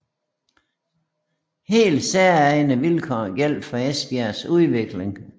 Helt særegne vilkår gjaldt for Esbjergs udvikling